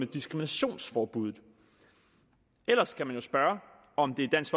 diskriminationsforbuddet ellers kan man jo spørge om det er dansk